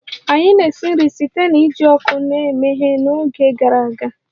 Anyị na-esi nri site na iji ọkụ na-emeghe n'oge gara aga